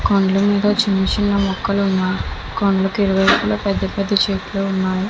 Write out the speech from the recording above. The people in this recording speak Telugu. కొండల మీద చిన్న చిన్న మొక్కలు ఉన్నాయి కొండల ఇరువైపులా పెద్ద పెద్ద చెట్లు ఉన్నాయి .